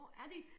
Hvor er de?